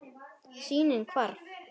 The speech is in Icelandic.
Sýnin hvarf.